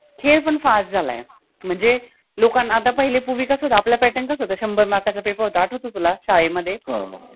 हे पन fast झाल आहे मनजे लोकाना आता पहिले पूर्वि कस होत आपला pattern कसा होता शम्भर mark पेपर होता आठवतो तुला शाळेमधे